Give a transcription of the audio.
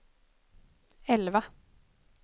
elva